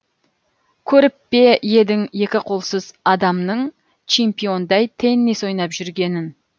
көріп пе едің екі қолсыз адамның чемпиондай теннис ойнап жүргенін